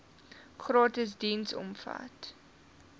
gratis diens omvat